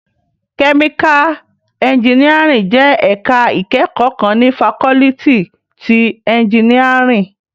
Kèmíká ènjìníárìn jè èká ikèékò kán ni fákòlìtí ti ènjìníárìn